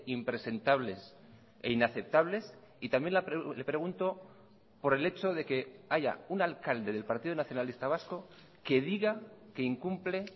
impresentables e inaceptables y también le pregunto por el hecho de que haya un alcalde del partido nacionalista vasco que diga que incumple